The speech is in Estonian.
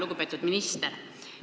Lugupeetud minister!